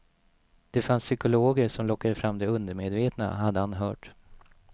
Det fanns psykologer som lockade fram det undermedvetna, hade han hört.